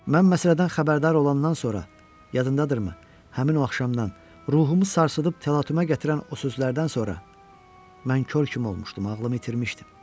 Mən məsələdən xəbərdar olandan sonra, yadındadırırmı, həmin o axşamdan, ruhumu sarsıdıb təlatümə gətirən o sözlərdən sonra, mən kor kimi olmuşdum, ağlımı itirmişdim.